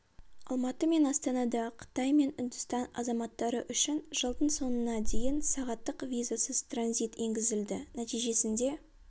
алматы мен астанада қытай мен үндістан азаматтары үшін жылдың соңына дейін сағаттық визасыз транзит енгізілді нәтижесінде